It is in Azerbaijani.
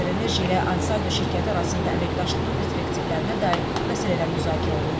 AzərEnerji ilə Ansaldo şirkəti arasında əməkdaşlığın perspektivlərinə dair məsələlər müzakirə olundu.